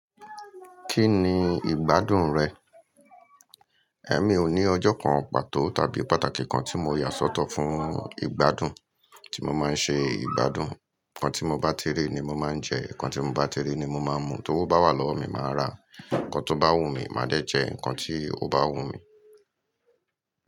Kí ni ìgbádùn rẹ? Ẹ̀m, mi ò ní ọjọ́ kan pàtó tàbí pàtàkì kan tí mo yà sọ́tọ̀ fún ìgbádùn. Tí mo máa ń ṣe ìgbádùn. Ǹkan tí mo bá ti rí ni mo máa ń jẹ, ǹkan tí mo bá ti rí ni mo máa ń mu, tó bá wà lọ́wọ́ mi màá ra, ǹkan tó bá wù mí màá dẹ̀ jẹ, ǹkan tí kò bá wù mí.